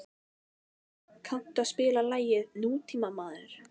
Hólm, kanntu að spila lagið „Nútímamaður“?